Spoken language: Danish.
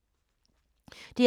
DR P3